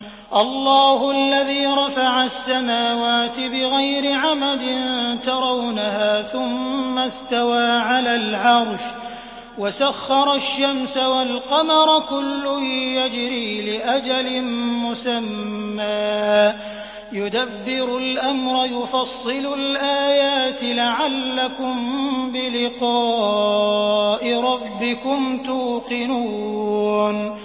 اللَّهُ الَّذِي رَفَعَ السَّمَاوَاتِ بِغَيْرِ عَمَدٍ تَرَوْنَهَا ۖ ثُمَّ اسْتَوَىٰ عَلَى الْعَرْشِ ۖ وَسَخَّرَ الشَّمْسَ وَالْقَمَرَ ۖ كُلٌّ يَجْرِي لِأَجَلٍ مُّسَمًّى ۚ يُدَبِّرُ الْأَمْرَ يُفَصِّلُ الْآيَاتِ لَعَلَّكُم بِلِقَاءِ رَبِّكُمْ تُوقِنُونَ